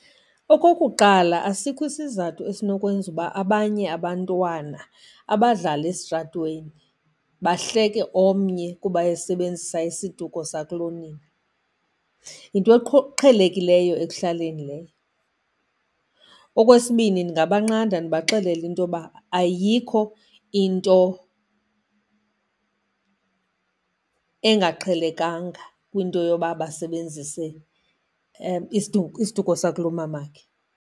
Okokuqala, asikho isizathu esinokwenza uba abanye abantwana abadlala esitratweni bahleke omnye kuba esebenzisa isiduko sakulo nina. Yinto ekuhlaleni leyo. Okwesibini, ndingabanqanda ndibaxelele into yoba ayikho into engaqhelekanga kwinto yoba basebenzise isiduko sakulo mamakhe.